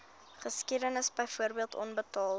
geskiedenis byvoorbeeld onbetaalde